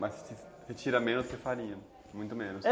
Mas você tira menos que farinha, muito menos.